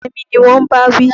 Yẹmí ni wọn ń bá wí.